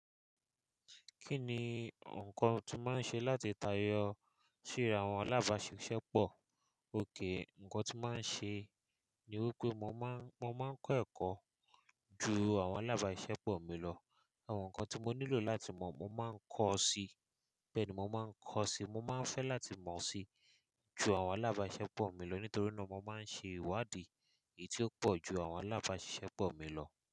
Kí ni nǹkan tí mà ń ṣe láti tayọ sí àwọn alábàáṣiṣẹ́ pọ̀? Oke, nǹkan tí mà ń ṣe ni wípé mo mà ń kọ́ ẹ̀kọ́ ju àwọn alábàáṣiṣẹ́ pọ̀ mi lọ. Àwọn nǹkan tí mo nílò láti mọ̀ mo mà ń kọ́ si, bẹ́ẹ̀ ni mo mà ń kọ́ si. Mo mà ń fẹ́ láti mọ̀ si ju àwọn alábàáṣiṣẹ́ pọ̀ mi lọ nítorí náà mo mà ń ṣe ìwádìí èyí tí ó pọ̀ ju àwọn alábàáṣiṣẹ́ pọ̀ mi lọ.